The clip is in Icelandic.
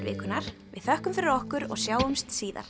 vikunnar við þökkum fyrir okkur og sjáumst síðar